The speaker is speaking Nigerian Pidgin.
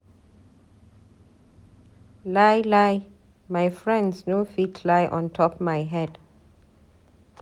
Lie lie my friends no fit lie ontop my head.